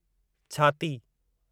छाती